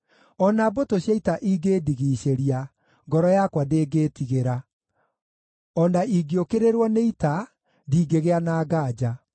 O na mbũtũ cia ita ingĩndigiicĩria, ngoro yakwa ndĩngĩĩtigĩra; o na ingĩũkĩrĩrwo nĩ ita, ndingĩgĩa na nganja.